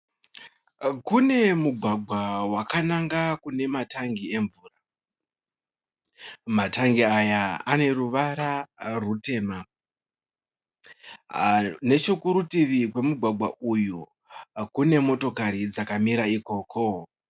Kune mugwagwa wakananga kunematangi emvura. Matangi aya aneruvara rutema. Nechokurutivi kwomugwagwa uyu, kune motikari dzakamira ikoko.